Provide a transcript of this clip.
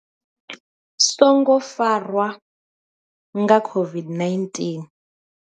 songo farwa nga COVID-19.